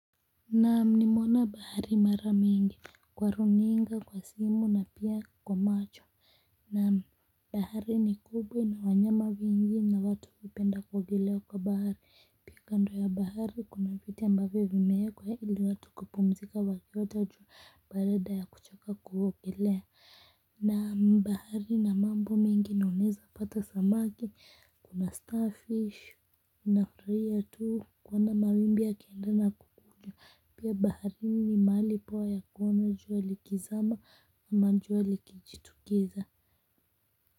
Naam nimeona bahari mara mingi kwa runinga kwa simu na pia kwa macho. Naam bahari ni kubwa ina wanyama wengi na watu hupenda kuogelea kwa bahari pia kando ya bahari kuna viti ambavyo vimeekwa ili watu kupumzika wakiota jua baada ya kuchoka kuogelea. Naam bahari ina mambo mengi na unaezapata samaki. Kuna starfish, unafurahia tu kuona mawimbi yakienda. Pia baharini ni mahali poa ya kuona jua likizama ama jua likijitokeza.